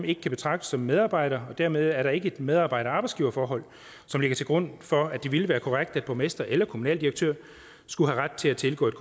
ikke kan betragtes som medarbejder og dermed er der ikke et medarbejder arbejdsgiver forhold som ligger til grund for at det ville være korrekt at borgmestre eller kommunaldirektører skulle have ret til at tilgå et